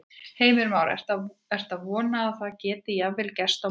Heimir Már: Ertu að vona að það geti jafnvel gerst á morgun?